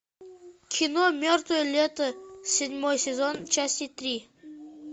кино мертвое лето седьмой сезон часть три